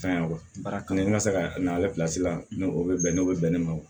Fɛn y'a baara kanu ka se ka na ale la n'o o bɛ bɛn n'o bɛ bɛn ne ma o